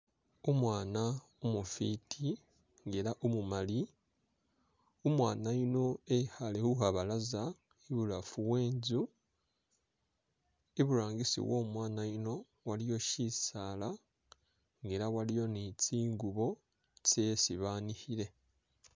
Umwana umufiti nga ela umumali, umwana yuno e'khaale khukhabalaza i'bulafu we'nzu i'burangisi wo'mwana yuno waliyo shisaala nga ela waliyo ni tsingubo tsyesi banikhile